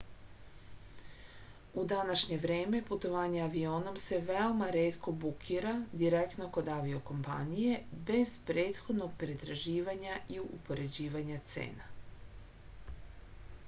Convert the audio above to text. u današnje vreme putovanje avionom se veoma retko bukira direktno kod avio-kompanije bez prethodnog pretraživanja i upoređivanja cena